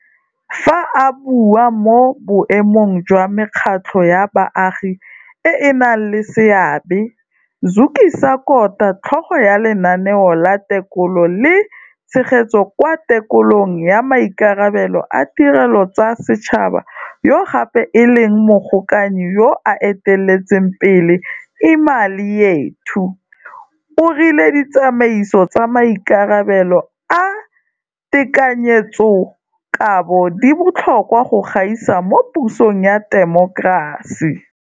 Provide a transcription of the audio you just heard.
Fa a bua mo boemong jwa mekgatlho ya baagi e e nang le seabe, Zukisa Kota, tlhogo ya Lenaneo la Tekolo le Tshegetso kwa Tekolong ya Maikarabelo a Tirelo tsa Setšhaba yo gape e leng mogokanyi yo o eteletseng pele Imali Yethu, o rile ditsamaiso tsa maikarabelo a tekanyetsokabo di botlhokwa go gaisa mo pusong ya temokerasi.